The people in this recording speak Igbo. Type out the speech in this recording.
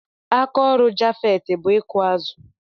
Aka ọrụ Japheth bụ ịkụ azụ.